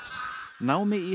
námi í